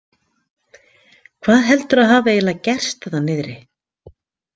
Hvað heldurðu að hafi eiginlega gerst þarna niðri?